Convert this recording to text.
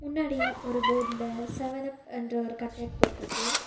முன்னாடி ஒரு போர்டுல செவன் அப் என்ற ஒரு கட்டவுட் போட்ருக்கு.